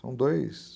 São dois...